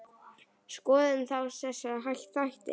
Skoðum þá þessa þætti.